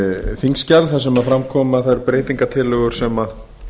þingskjal þar sem fram koma þær breytingartillögur sem